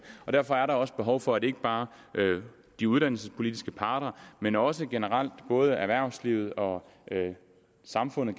og derfor er der også behov for at ikke bare de uddannelsespolitiske parter men også generelt både erhvervslivet og samfundet